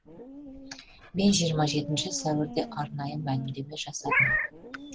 мен жиырма жетінші сәуірде арнайы мәлімдеме жасадым